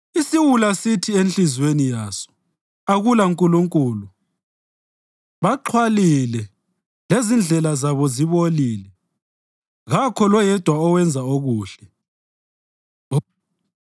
Isiwula sithi enhliziyweni yaso, “AkulaNkulunkulu.” Baxhwalile, lezindlela zabo zibolile; kakho loyedwa owenza okuhle.